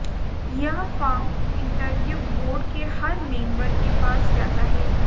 यह form interview board के हर मेंबर के पास जाता है